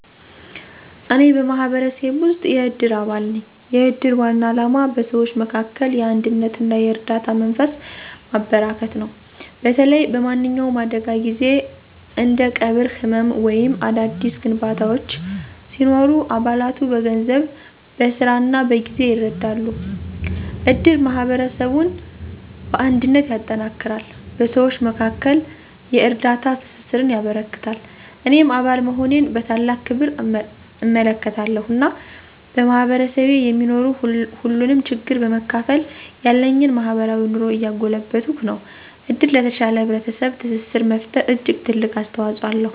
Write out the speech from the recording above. እኔ በማህበረሰቤ ውስጥ የእድር አባል ነኝ። የእድር ዋና ዓላማ በሰዎች መካከል የአንድነትና የእርዳታ መንፈስን ማበረከት ነው። በተለይ በማንኛውም አደጋ ጊዜ እንደ ቀብር፣ ሕመም ወይም አዳዲስ ግንባታዎች ሲኖሩ አባላቱ በገንዘብ፣ በሥራ እና በጊዜ ይረዳሉ። እድር ማህበረሰቡን በአንድነት ያጠነክራል፣ በሰዎች መካከል የእርዳታ ትስስርን ያበረክታል። እኔም አባል መሆኔን በታላቅ ክብር እመለከታለሁ፣ እና በማህበረሰቤ የሚኖር ሁሉንም ችግር በመካፈል ያለኝን ማህበራዊ ኑሮ እያጎለበትኩ ነው። እድር ለተሻለ ህብረተሰብ ትስስር መፈጠር እጅግ ትልቅ አስተዋፅኦ አለው።